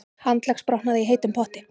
Handleggsbrotnaði í heitum potti